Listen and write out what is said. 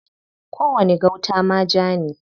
Kowani gauta ma ja ne.